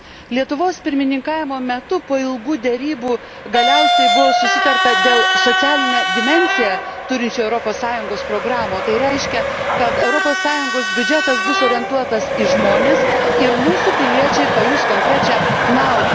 Lietuvos pirmininkavimo metu po ilgų derybų galiausiai buvo susitarta dėl socialinę dimensiją turinčių Europos Sąjungos programų, o tai reiškia, kad Europos Sąjungos biudžetas bus orientuotas į žmones, ir mūsų piliečiai pajus konkrečią naudą.